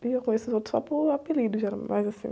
E eu conheço os outros só por apelido, geralmente, mas assim.